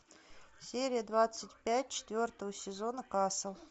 серия двадцать пять четвертого сезона касл